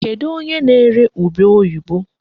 Kedụ onye na-ere ube oyibo?